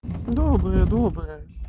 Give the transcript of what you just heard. добрая добрая